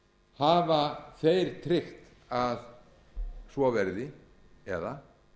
hafa þeir tryggt að svo verði eða